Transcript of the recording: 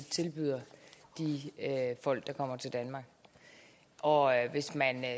tilbyder de folk der kommer til danmark og hvis man